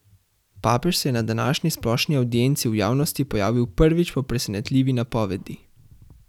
Papež se je na današnji splošni avdienci v javnosti pojavil prvič po presenetljivi napovedi.